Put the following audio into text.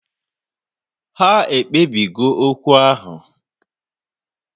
Ha ekpebi go okwu ahu